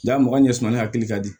a mɔgɔ ɲɛsamani hakili ka di